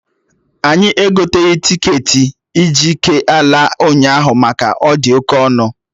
Anyị egoteghị tiketi ig k ala ụnyaahụ maka ọ dị oke ọnụ